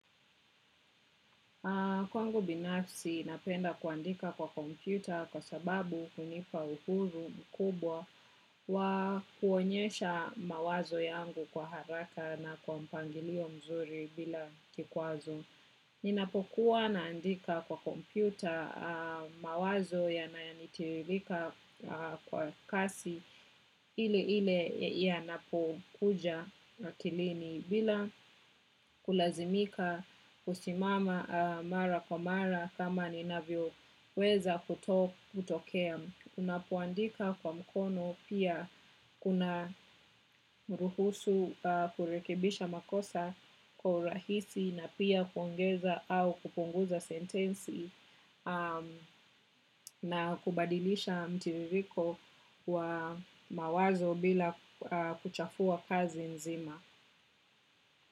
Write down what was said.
Kwangu binafsi, napenda kuandika kwa kompyuta kwa sababu kunipa uhuru mkubwa wa kuonyesha mawazo yangu kwa haraka na kwa mpangilio mzuri bila kikwazo. Ninapokuwa naandika kwa kompyuta mawazo yananitiririka kwa kasi ile ile yanapokuja akilini bila kulazimika kusimama mara kwa mara kama ninavyoweza kutokea. Unapoandika kwa mkono pia kunaruhusu kurekebisha makosa kwa urahisi na pia kuongeza au kupunguza sentensi na kubadilisha mtiririko wa mawazo bila kuchafua kazi nzima.